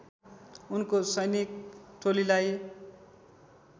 उनको सैनिक टोलीलाई